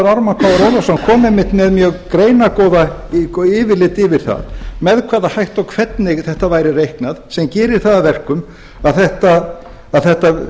ármann krónu ólafsson kom einmitt með mjög greinargott yfirlit yfir það með hvaða hætti og hvernig þetta væri reiknað sem gerir það að verkum að